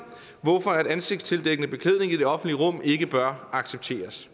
hvorfor ansigtsdækkende beklædning i det offentlige rum ikke bør accepteres